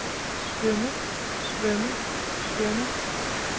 svømme svømme svømme